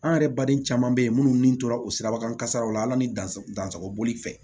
An yɛrɛ baden caman bɛ yen minnu ni tora o sirabakan kasaraw la ala ni dansako boli fɛ